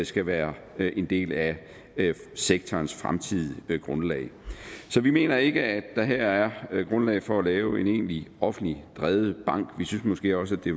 skal være en del af sektorens fremtidige grundlag så vi mener ikke at der her er grundlag for at lave en egentlig offentligt drevet bank vi synes måske også at det